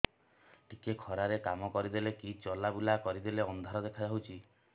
ଟିକେ ଖରା ରେ କାମ କରିଦେଲେ କି ଚଲବୁଲା କରିଦେଲେ ଅନ୍ଧାର ଦେଖା ହଉଚି